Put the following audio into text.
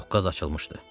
Doqqaz açılmışdı.